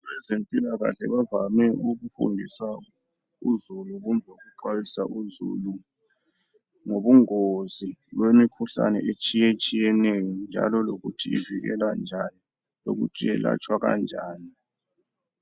Abezempilakahle bavame ukufundisa uzulu kumbe ukuxwayiswa uzulu ngobungozi bemikhuhlane etshiyetshiyeneyo njalo lokuthi ivikelwa njani lokuthi iyelatshwa njani